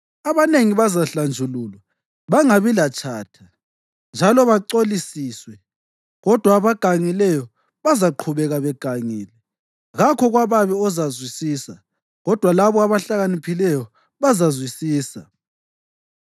Abanengi bazahlanjululwa, bangabi latshatha njalo bacolisiswe, kodwa abagangileyo bazaqhubeka begangile. Kakho kwababi ozazwisisa, kodwa labo abahlakaniphileyo bazazwisisa.”